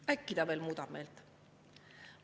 Äkki see veel muudab meelt?